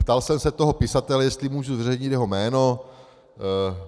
Ptal jsem se toho pisatele, jestli mohu zveřejnit jeho jméno.